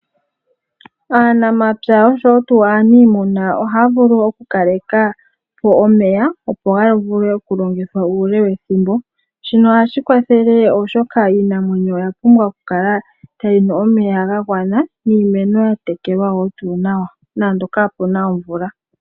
Aanamapya oshowo tuu aaniimuna ohaya vulu okukaleka po omeya opo ga vulwe okulongithwa uule wethimbo. Shino ohashi kwathele oshoka iinamwenyo oya pumbwa okukala tayi nu omeya ga gwana, niimeno ya tekelwa wo tuu nawa nande kapuna omvula.